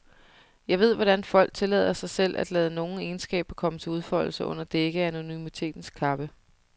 Jeg ved, hvordan folk tillader sig selv at lade nogle egenskaber komme til udfoldelse under dække af anonymitetens kappe.